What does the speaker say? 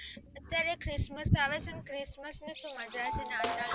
અત્યારે christmas આવે છે નાતાલ માં ને એમાં મજા છે